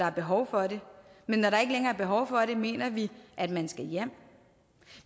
er behov for det men når der ikke længere er behov for det mener vi at man skal hjem